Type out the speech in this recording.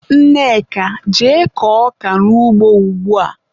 Nneka, jee kọọ ọka n'ugbo ugbua!